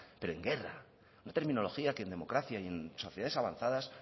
pero en guerra una terminología que en democracia y en sociedades avanzadas